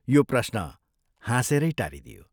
यो प्रश्न हाँसेरै टारिदियो।